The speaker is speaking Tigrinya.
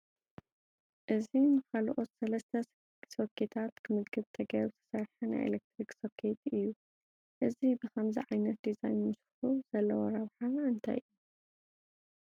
እዚ ንካልኦት ሰለስተ ሶኬታት ክምግብ ተገይሩ ዝተሰርሐ ናይ ኤለክትሪክ ሶኬት እዩ፡፡ እዚ ብኸምዚ ዓይነት ዲዛይን ምስርሑ ዘለዎ ረብሓ እንታይ እዩ?